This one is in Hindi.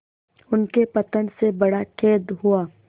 उनके पतन से बड़ा खेद हुआ